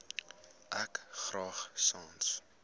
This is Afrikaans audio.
ek graag sans